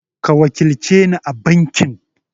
Ka wakilce ni a banki!